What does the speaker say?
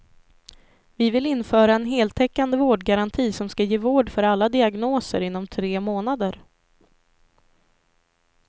Vi vill införa en heltäckande vårdgaranti som ska ge vård för alla diagnoser inom tre månader.